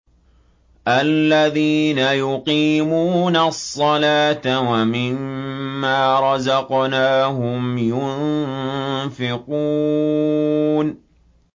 الَّذِينَ يُقِيمُونَ الصَّلَاةَ وَمِمَّا رَزَقْنَاهُمْ يُنفِقُونَ